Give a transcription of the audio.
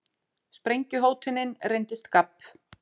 Sprengjuhótunin reyndist gabb